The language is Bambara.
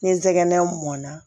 Ni ntɛgɛnɛnna